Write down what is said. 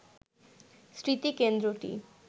স্মৃতিকেন্দ্রটি